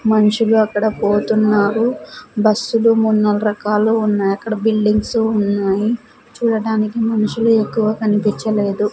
మనుషులు అక్కడ పోతున్నారు బస్సులు మూడు నాలుగు రకాలు ఉన్నాయి అక్కడ బిల్డింగ్స్ ఉన్నాయి చూడటానికి మనుషులు ఎక్కువ కనిపించలేదు.